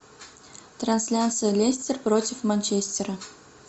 трансляция лестер против манчестера